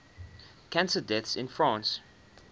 cancer deaths in france